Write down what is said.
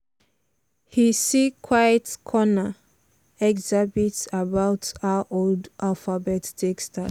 he see quiet corner exhibit about how old alphabet take start.